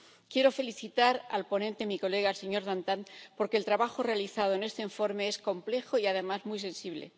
Quiero felicitar al ponente, mi colega, el señor Dantin, porque el trabajo realizado en este informe es complejo y, además, muy sensible.